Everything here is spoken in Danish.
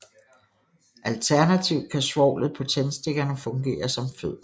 Alternativt kan svovlet på tændstikkerne fungere som fødder